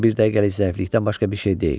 Bu bir dəqiqəlik zəiflikdən başqa bir şey deyil.